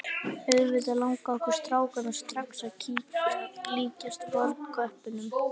Auðvitað langaði okkur strákana strax að líkjast fornköppunum.